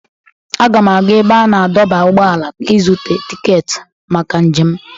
Aga m aga ebe a na-adọba ụgbọala ịzụta tiketi maka njem m.